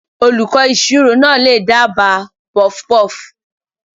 Olùkọ́ ìṣirò náà lè dábàá puffpuff.